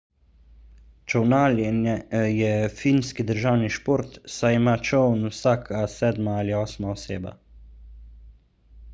čolnarjenje je finski državni šport saj ima čoln vsaka sedma ali osma oseba